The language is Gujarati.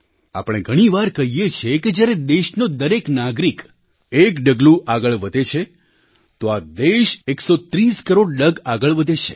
આપણે ઘણી વાર કહીએ છીએ કે જ્યારે દેશનો દરેક નાગરિક એક ડગલું આગળ વધે છે તો આ દેશ 130 કરોડ ડગ આગળ વધે છે